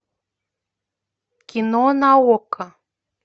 кино на окко